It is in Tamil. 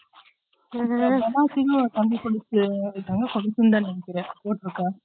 இப்போ பெனாசிங்னு ஒரு கம்பி கொலுசு வச்சுருக்காங்க கொலுசுனு தான் நினைக்குறேன் போட்டுருக்கா